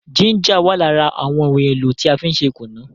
Jínjà wà lára àwọn ohun èlò tí a fí n ṣe kùnú